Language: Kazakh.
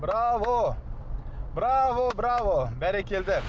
браво браво браво бәрекелді